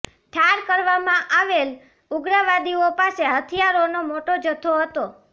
ઠાર કરવામાં આવેલા ઉગ્રવાદીઓ પાસે હથિયારોનો મોટો જથ્થો હતો